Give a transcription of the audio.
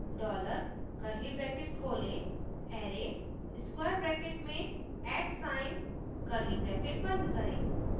dollar curly bracket खोलें array square bracket में @atsign curly bracket बंद करें